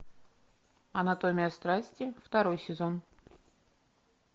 анатомия страсти второй сезон